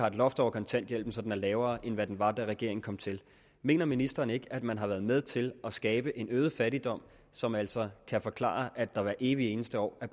et loft over kontanthjælpen så den er lavere end hvad den var da regeringen kom til mener ministeren ikke at man har været med til at skabe en øget fattigdom som altså kan forklare at der hvert evig eneste år er